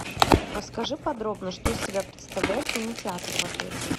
расскажи подробно что из себя представляет кинотеатр в отеле